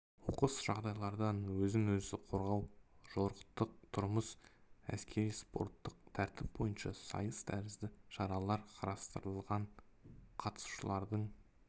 оқыс жағдайларда өзін өзі қорғау жорықтық тұрмыс әскери-спорттық тәртіп бойынша сайыс тәрізді шаралар қарастырылған қатысушылардың